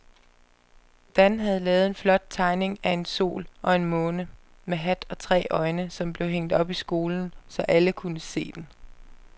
Dan havde lavet en flot tegning af en sol og en måne med hat og tre øjne, som blev hængt op i skolen, så alle kunne se den.